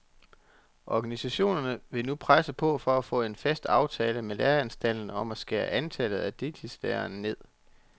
Organisationerne vil nu presse på for at få en fast aftale med læreanstalterne om at skære antallet af deltidslærere ned.